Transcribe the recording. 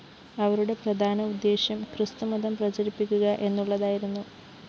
അവരുടെ പ്രധാന ഉദ്ദേശ്യം ക്രിസ്തുമതം പ്രചരിപ്പിക്കുക എന്നുള്ളതായിരുന്നു